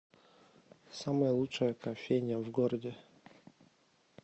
самая лучшая кофейня в городе